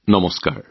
নমস্কাৰ